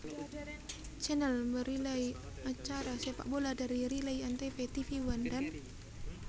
Channel merelay acara sepakbola dari relay antv tvOne dan